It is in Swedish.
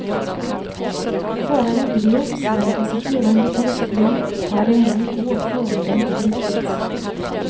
Föraren greps men en passagerare lyckades fly och hade ännu i går förmiddag inte gripits.